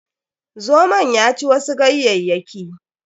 Zomon ya ci wasu ganyayyaki.